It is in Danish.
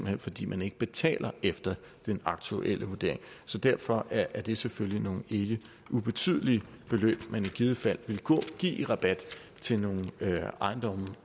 hen fordi man ikke betaler efter den aktuelle vurdering så derfor er er det selvfølgelig nogle ikke ubetydelige beløb man i givet fald ville give i rabat til nogle ejendomme